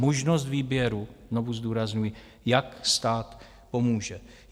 Možnost výběru, znovu zdůrazňuji, jak stát pomůže.